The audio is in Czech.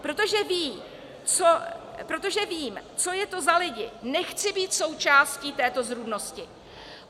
Protože vím, co je to za lidi, nechci být součástí této zrůdnosti.